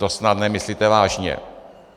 To snad nemyslíte vážně!